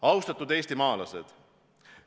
Austatud eestimaalased!